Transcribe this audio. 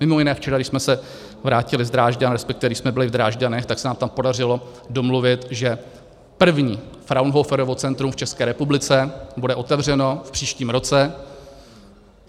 Mimo jiné včera, když jsme se vrátili z Drážďan, respektive když jsme byli v Drážďanech, tak se nám tam podařilo domluvit, že první Fraunhoferovo centrum v České republice bude otevřeno v příštím roce.